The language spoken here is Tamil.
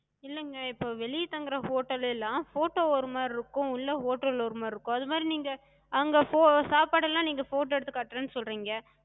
இல்லங்க இப்ப வெளிய தங்குற hotel எல்லா photo ஒரு மாரி இருக்கு, உள்ள hotel ல ஒரு மாரி இருக்கு. அதுமாரி நீங்க அங்க சாப்பாடு எல்லா நீங்க photo எடுத்துக் காட்டுறேன்னு சொல்றிங்க.